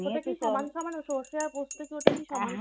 এটা কি সমান সমান? সরষে আর পোস্ত কি ওটা কি?